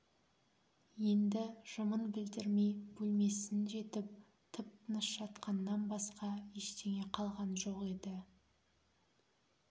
енді жымын білдірмей бөлмесін жетіп тып-тыныш жатқаннан басқа ештеңе қалған жоқ еді